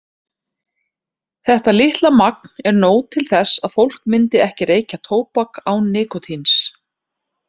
Þetta litla magn er nóg til þess að fólk myndi ekki reykja tóbak án nikótíns.